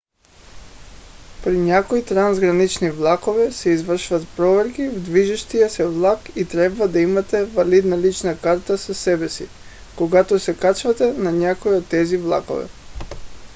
при някои трансгранични влакове се извършват проверки в движещия се влак и трябва да имате валидна лична карта със себе си когато се качвате на някой от тези влакове